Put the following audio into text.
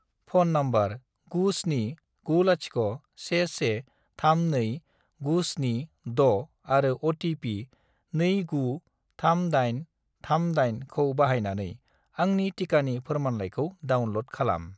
Phone number 97901132976 आरो OTP. 293838 खौ बाहायनानै आंनि टिकानि फोरमानलाइखौ डाउनल'ड खालाम।